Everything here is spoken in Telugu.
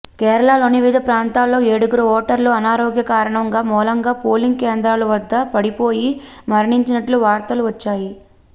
కేరళలోని వివిధ ప్రాంతాల్లో ఏడుగురు ఓటర్లు అనారోగ్య కారణాల మూలంగా పోలింగ్ కేంద్రాల వద్ద పడిపోయి మరణించినట్లు వార్తలు వచ్చాయి